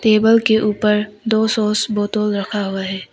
Table के ऊपर दो सॉस बॉटल रखा हुआ है।